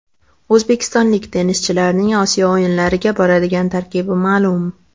O‘zbekistonlik tennischilarning Osiyo o‘yinlariga boradigan tarkibi ma’lum.